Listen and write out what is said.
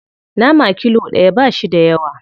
Nama kilo ɗaya ba shi da yawa.